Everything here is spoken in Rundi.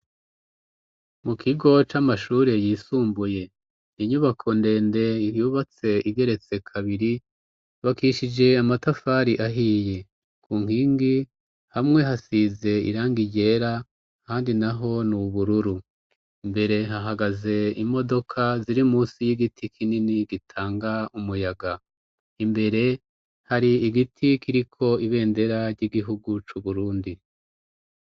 Mu kigo c'amashure yisumbuye, inyubako ndende yubatse igeretse kabiri; yubakishije amatafari ahiye; ku nkingi hamwe hasize irangi ryera ahandi naho ni ubururu. Imbere hahagaze imodoka ziri munsi y'igiti kinini gitanga umuyaga. Imbere hari igiti kiriko ibendera ry'igihugu c' Uburundi.